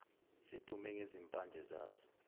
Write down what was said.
sidume ngezimpande zaso